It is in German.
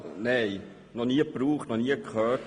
Nein, noch nie gebraucht und noch nie davon gehört.